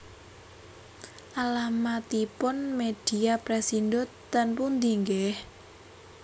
Alamatipun Media Pressindo ten pundi nggih?